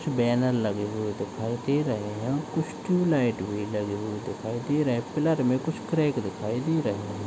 छ बैनर लगे हुए दिखाई दे रहे हैं कुछ ट्यूबलाइट भी लगे हुए दिखाई दे रहे है प्लर में कुछ क्रैक दिखाई दे रहे --